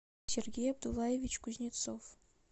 сергей абдулаевич кузнецов